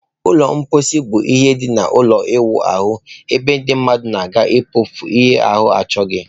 Ụlọ mposi bụ ihe dị n'ime ụlọ ịwụ ahụ ebe ndị mmadụ na-aga mkpofu ihe ahu achoghi.